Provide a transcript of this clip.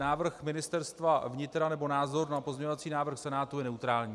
Návrh Ministerstva vnitra, nebo názor na pozměňovací návrh Senátu je neutrální.